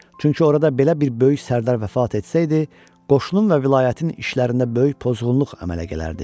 Çünki orada belə bir böyük sərdar vəfat etsəydi, qoşunun və vilayətin işlərində böyük pozğunluq əmələ gələrdi.